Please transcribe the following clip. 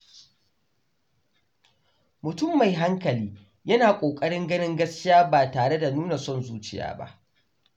Mutum mai hankali yana kokarin ganin gaskiya ba tare da nuna son zuciya ba.